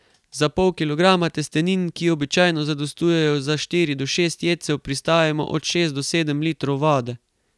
Za pol kilograma testenin, ki običajno zadostujejo za štiri do šest jedcev, pristavimo od šest do sedem litrov vode.